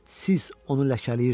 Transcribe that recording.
Siz onu ləkələyirsiz.